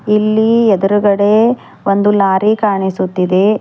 ಇಲ್ಲಿ ಎದುರುಗಡೆ ಒಂದು ಲಾರಿ ಕಾಣಿಸುತ್ತಿದೆ.